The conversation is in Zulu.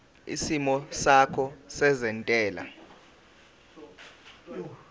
isimo sakho sezentela